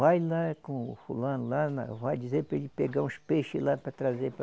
Vai lá com o fulano lá na, vai dizer para ele pegar uns peixes lá para trazer para